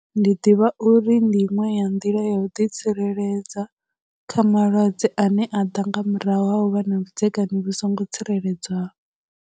Ndi ḓivha uri ndi inwe ya ndila ya u ḓi tsireledza kha malwadze ane a ḓa nga murahu vha na vhudzekani vhu songo tsireledzeaho.